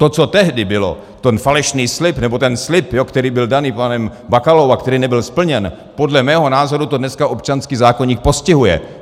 To, co tehdy bylo, ten falešný slib, nebo ten slib, který byl daný panem Bakalou a který nebyl splněn, podle mého názoru to dneska občanský zákoník postihuje.